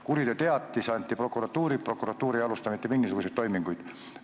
Kuriteoteatis anti prokuratuuri, prokuratuur ei alusta mitte mingisuguseid toiminguid.